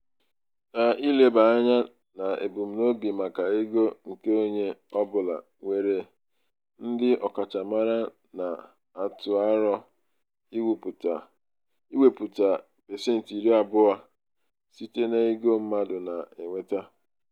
n'ileba anya n'ebumnobi maka ego nke onye ọbụla nwere ndị ọkachamara na-atụ aro iwepụta pasentị iri abụọ iri abụọ site n'ego mmadụ na-enweta.